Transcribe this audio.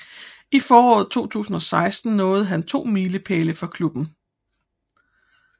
I foråret 2016 nåede han to milepæle for klubben